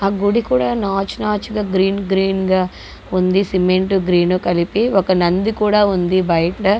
ఆ గుడి కూడా నాచు నాచుగా గ్రీన్ గ్రీన్ గా ఉంది. సిమెంటు గ్రీను కలిపి ఒక నంది కూడా ఉంది బయటన.